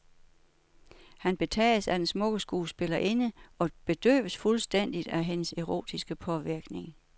Han betages af den smukke skuespillerinde og bedøves fuldstændigt af hendes erotiske påvirkning.